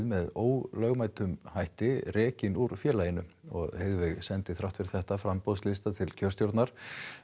með ólögmætum hætti rekin úr félaginu sendi þrátt fyrir þetta framboðslista til kjörstjórnar